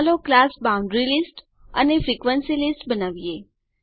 ચાલો class boundary list અને frequency list બનાવીએ